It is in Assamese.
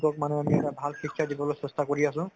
তেওঁলোকক মানে এটা ভাল শিক্ষা দিবলৈ চেষ্টা কৰি আছো